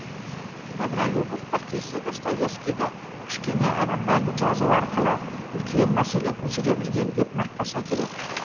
добролюбов бір кезде достоевскийді кішкене адамдарды жазу арқылы үлкен мәселе көтере білген деп мақтаса керек